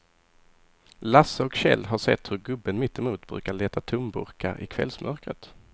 Lasse och Kjell har sett hur gubben mittemot brukar leta tomburkar i kvällsmörkret.